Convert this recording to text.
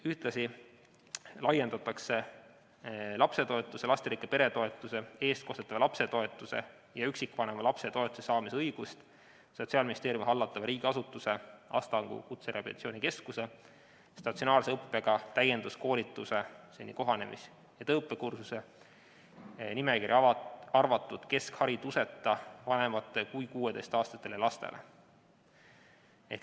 Ühtlasi laiendatakse lapsetoetuse, lasterikka pere toetuse, eestkostetava lapse toetuse ja üksikvanema lapse toetuse saamise õigust Sotsiaalministeeriumi hallatava riigiasutuse, Astangu Kutserehabilitatsiooni Keskuse statsionaarse õppega täienduskoolituse kohanemis- ja tööõppekursuse nimekirja arvatud keskhariduseta vanematele kui 16-aastastele lastele.